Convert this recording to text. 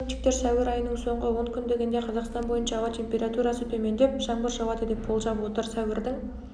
синоптиктер сәуір айының соңғы онкүндігінде қазақстан бойынша ауа температурасы төмендеп жаңбыр жауады деп болжап отыр сәуірдің